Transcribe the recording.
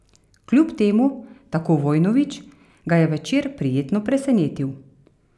Kljub temu, tako Vojnović, ga je večer prijetno presenetil.